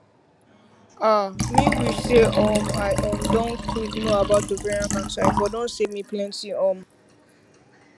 ah me wish say um i um don quick know about ovarian cancer e for don save me plenty um